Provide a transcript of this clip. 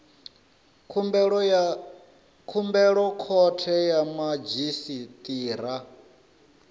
khumbelo khothe ya madzhisi ṱira